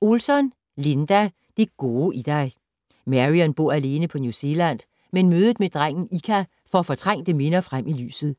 Olsson, Linda: Det gode i dig Marion bor alene på New Zealand, men mødet med drengen Ika får fortrængte minder frem i lyset.